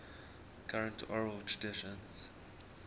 current oral traditions